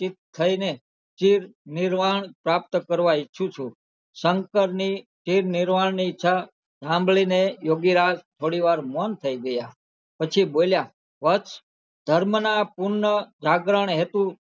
નિર્વાણ પ્રાપ્ત કરવા ઈચ્છુ છુ શંકર ની ઈ નિર્વાણ ની ઈચ્છા હામ્ભળી ને યોગીરાજ થોડી વાર મૌન થઈ ગયાં પછી બોલિયાં વત્સ ધર્મ ના પૂર્ણ જાગરણ હેતુ